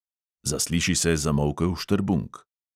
Zasliši se zamolkel štrbunk.